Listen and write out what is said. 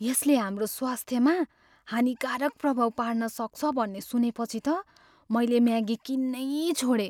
यसले हाम्रो स्वास्थ्यमा हानिकारक प्रभाव पार्न सक्छ भन्ने सुनेपछि त मैले म्यागी किन्नै छोडेँ।